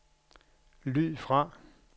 lyd fra